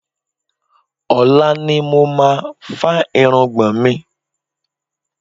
Ọ̀la ni mo máa fá irùngbọ̀n mi.